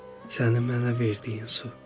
Səni mənə verdiyin su.